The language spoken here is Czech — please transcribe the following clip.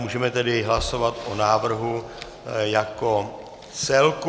Můžeme tedy hlasovat o návrhu jako celku.